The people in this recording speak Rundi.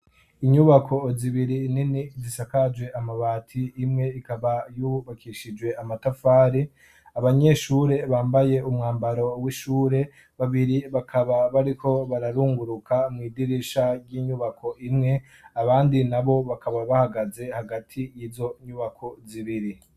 Inyubako zibiri nini zisakaje amabati imwe ikaba yubakishijwe amatafari. Abanyeshure bambaye umwambaro w'ishure, babiri bakaba bariko bararunguruka mw'idirisha ry'inyubako imwe abandi nabo bakaba bahagaze hagati y'izonyubako zibiri.